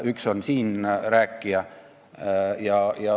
Üks neist on siin rääkija.